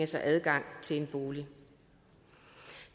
sig adgang til en bolig